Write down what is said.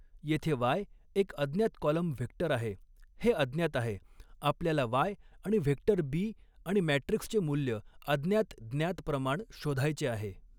येथे वाय एक अज्ञात कॉलम व्हेक्टर आहे हे अज्ञात आहे आपल्याला वाय आणि व्हेक्टर बी आणि मॅट्रिक्सचे मूल्य अज्ञात ज्ञात प्रमाण शोधायचे आहे.